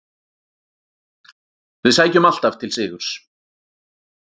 Við sækjum alltaf til sigurs.